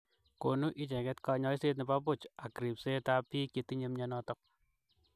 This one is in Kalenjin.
Konuu ichegeet konyoiseet nepo puch ak ripseet ap piik chetinyo myonoton